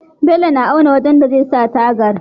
Bello na auna wajan da zai sa tagar